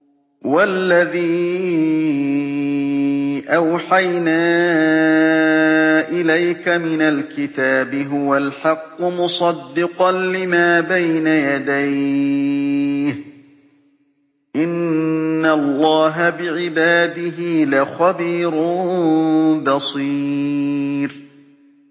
وَالَّذِي أَوْحَيْنَا إِلَيْكَ مِنَ الْكِتَابِ هُوَ الْحَقُّ مُصَدِّقًا لِّمَا بَيْنَ يَدَيْهِ ۗ إِنَّ اللَّهَ بِعِبَادِهِ لَخَبِيرٌ بَصِيرٌ